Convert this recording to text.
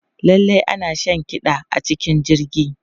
Lallai ana shan kiɗa a cikin jirgi.